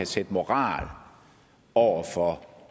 sætte moral over for